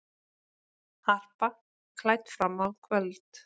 Harpa klædd fram á kvöld